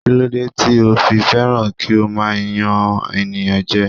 Kí ló dé tí o fi fẹ́ràn kí o máa yan ènìyàn jẹ?